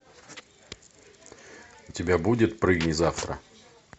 у тебя будет прыгни завтра